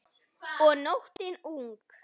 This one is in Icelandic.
Og nóttin ung.